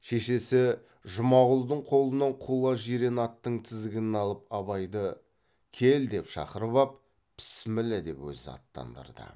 шешесі жұмағұлдың қолынан құла жирен аттың тізгінін алып абайды кел деп шақырып ап пісміллә деп өзі аттандырды